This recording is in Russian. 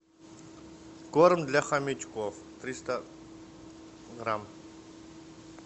корм для хомячков триста грамм